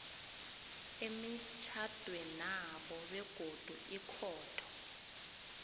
emitjhadwenabo begodu ikhotho